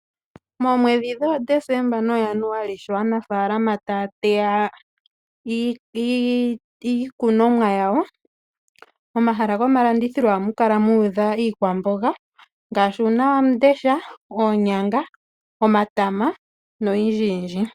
Moomwedhi dhoDesemba noJanuali sho aanafalama taa teya iikunumwa yawo momahala gomalandithilo ohamu kala muudha iikwamboga ngaashi uunawamundesha ,oonynga ,omatama noyindjiyindji.